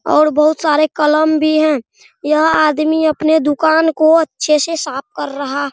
और बहुत सारे कलम भी हैं | यह आदमी अपने दुकान को अच्छे से साफ कर रहा --